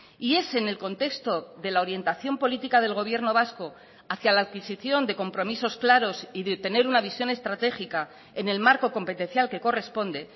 y es en el contexto de la orientación política del gobierno vasco hacia la adquisición de compromisos claros y de tener una visión estratégica en el marco competencial que corresponde